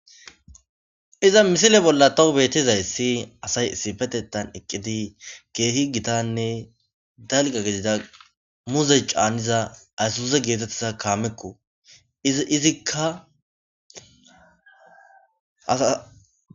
iza misile bolla tawu beetizay si asay isifetettan eqqidi keehi gitanne dalga gedida muzey caaniza aysuse geetettiza kaamekko izikkaasa